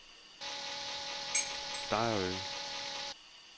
Dejrø